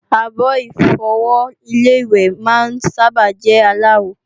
Àbo-Ìfọwọ́ Ilé-ìwẹ̀ máa ń sábà jẹ́ aláwo